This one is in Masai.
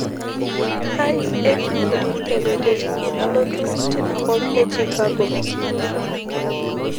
kai etiu enkijape te wiki nalotu tinakop e chicago